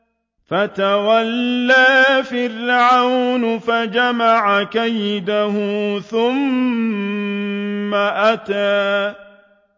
فَتَوَلَّىٰ فِرْعَوْنُ فَجَمَعَ كَيْدَهُ ثُمَّ أَتَىٰ